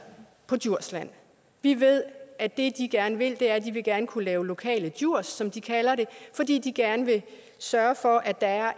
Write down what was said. på djursland vi ved at det de gerne vil er at de gerne vil kunne lave lokale djurs som de kalder det fordi de gerne vil sørge for at der er